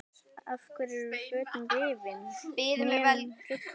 Af hverju eru fötin rifin, hnén hrufluð?